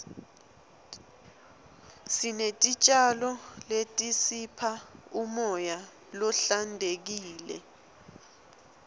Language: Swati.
sinetitjalo letisipha umoya lohlantekile